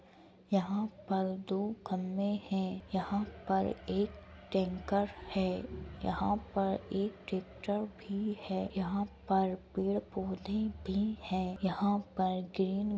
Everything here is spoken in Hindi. यहाँ पर दो खंबे है। यहाँ पर एक टेंकर है यहाँ पर एक ट्रेक्टर भी है यहाँ पर पेड़ पौधे भी हैं। यहाँ पर ग्रीन --